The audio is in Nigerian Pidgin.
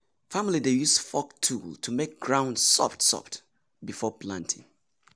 family dey use fork tool to make ground soft soft before planting.